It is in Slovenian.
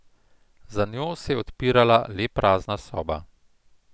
Za njo se je odpirala le prazna soba.